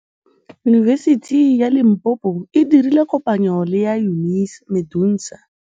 Yunibesiti ya Limpopo e dirile kopanyô le MEDUNSA.